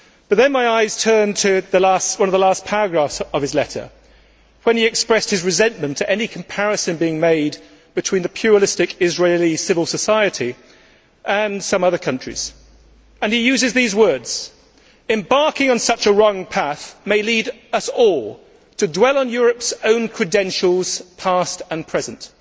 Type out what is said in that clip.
Then my eyes turned to one of the last paragraphs of his letter, where he expressed his resentment to any comparison being made between pluralistic Israeli civil society and some other countries. He uses these words Embarking on such a wrong path may lead us all to dwell on Europe's own credentials past and present'.